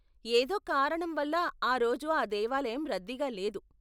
ఏదో కారణం వల్ల, ఆ రోజు ఆ దేవాలయం రద్దీగా లేదు.